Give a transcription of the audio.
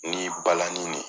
Ni balanni ni de